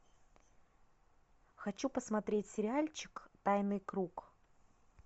хочу посмотреть сериальчик тайный круг